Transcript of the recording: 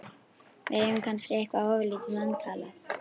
Við eigum kannski eitthvað ofurlítið vantalað.